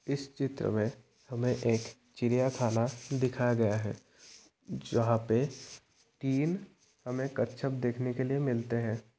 इस चित्र मे हमें एक चिड़ियाँ खाना दिखाया गया है जहाँ पे तीन हमें कछवे देखने के लिए मिलते है।